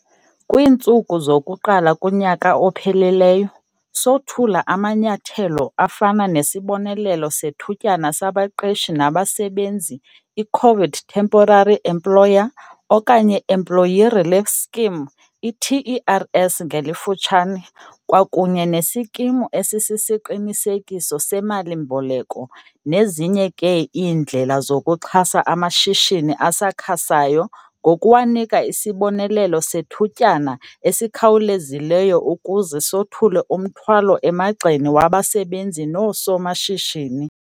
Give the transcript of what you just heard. Kwiintsuku zokuqala kunyaka ophelileyo, sothula amanyathelo afana nesibonelelo sethutyana sabaqeshi nabasebenzi i-COVID Temporary Employer okanye Employee Relief Scheme, iTERS ngelifutshane, kwakunye neSikimu Esisisiqinisekiso seMali-mboleko nezinye ke iindlela zokuxhasa amashishini asakhasayo ngokuwanika isibonelelo sethutyana esikhawulezileyo ukuze sothule umthwalo emagxeni wabasebenzi noosomashishini.